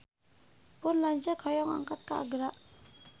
Pun lanceuk hoyong angkat ka Agra